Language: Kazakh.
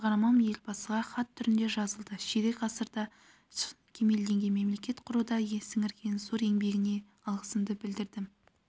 менің шығармам елбасыға хат түрінде жазылды ширек ғасырда кемелденген мемлекет құруда сіңірген зор еңбегіне алғысымды білдірдім